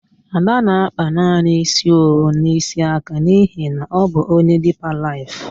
Ada na-akpa naanị ísí owu na ísí aka n'ihi na ọ bụ onye Dipa Laịf.